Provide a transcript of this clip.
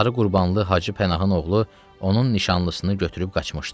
Sarı Qurbanlı Hacı Pənahın oğlu onun nişanlısını götürüb qaçmışdı.